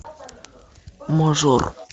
мажор